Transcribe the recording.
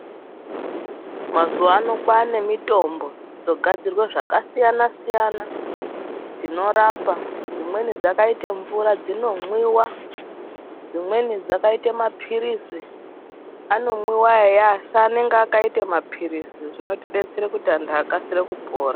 Mazuwano kwane mitombo dzogadzirwe zvakasiyana siyana dzinorapa. Dzimweni dzakaite mvura dzinomwiwa , dzimweni dzakaite mapilizi anomwiwa eya asi anenge akaite mapilizi zvinotidetsere kuti anthu akasire kupora.